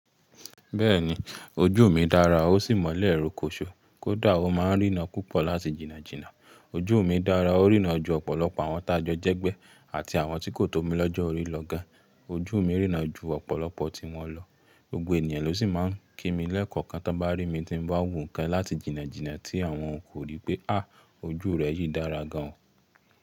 Bẹ́ẹ̀ni, ojú mi dára ó sì mọ́lẹ̀ rokoṣo, kódà ò máa ń ríran púpọ̀ láti jìnnàjìnnà. Ojú mi dára, ó ríran ju ọ̀pọ̀lọpọ̀ àwọn taajọ jẹ́gbẹ́ àti àwọn tí kò tó mi lọ́jọ́ orí lọ gan. Ojú mi ríran ju ọ̀pọ̀lọpọ̀ tí wọn lọ, gbogbo ènìyàn ló sì máa ń kí mi lẹ́ẹ̀kọ̀kan tí wọ́n bá rí mi tí ń bá wo nnkán láti jìnnàjìnnà tí àwọn kò rí pé, áà! Ojú rẹ yìí dára gan.